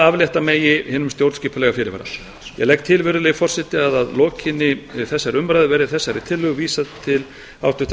aflétta megi hinum stjórnskipulega fyrirvara ég legg til virðulegi forseti að að lokinni þessari umræðu verði þessari tillögu vísað til háttvirtrar